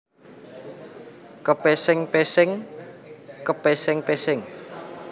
Kepesing pesing kepéséng péséng